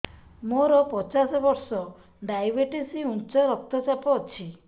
ମୋର ପଚାଶ ବର୍ଷ ଡାଏବେଟିସ ଉଚ୍ଚ ରକ୍ତ ଚାପ ଅଛି